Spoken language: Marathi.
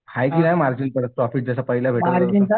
हाय की नाही मार्जिन प्रॉफिट जसं पहिला भेटत होतं?